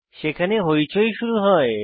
সেখানে হৈচৈ শুরু হয়